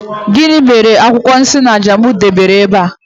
Gini mere akwukwo ogwu Isanaje m debere ebe a?